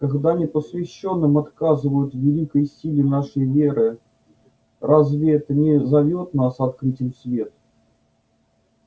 когда непосвящённым отказывают в великой силе нашей веры разве это не зовёт нас открыть им свет